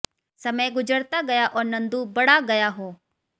समय गुजरता गया और नंदू बड़ा गया हो